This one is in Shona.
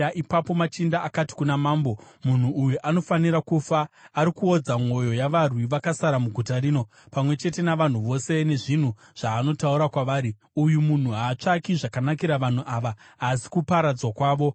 Ipapo machinda akati kuna mambo, “Munhu uyu anofanira kufa. Ari kuodza mwoyo yavarwi vakasara muguta rino, pamwe chete navanhu vose, nezvinhu zvaanotaura kwavari. Uyu munhu haatsvaki zvakanakira vanhu ava asi kuparadzwa kwavo.”